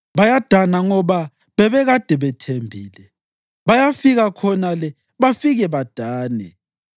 Bayadana ngoba bebekade bethembile; bayafika khonale bafike badane.